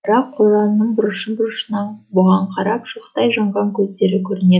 бірақ қораның бұрышы бұрышынан бұған қарап шоқтай жанған көздері көрінеді